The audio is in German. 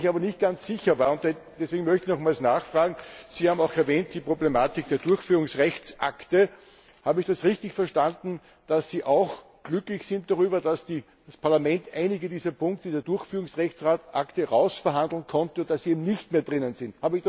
Wo ich aber nicht ganz sicher war und deswegen möchte ich noch einmal nachfragen Sie haben auch die Problematik der Durchführungsrechtsakte erwähnt. Habe ich das richtig verstanden, dass Sie auch glücklich sind darüber, dass das Parlament einige dieser Punkte der Durchführungsrechtsakte herausverhandeln konnte und sie eben nicht mehr drinnen sind?